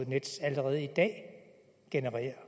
nets allerede i dag genererer